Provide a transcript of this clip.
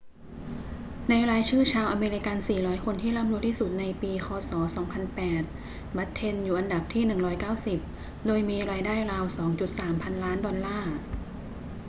ในรายชื่อชาวอเมริกัน 400 คนที่ร่ำรวยที่สุดในปีค ศ. 2008 บัตเทนอยู่อันดับที่ 190 โดยมีรายได้ราว 2.3 พันล้านดอลลาร์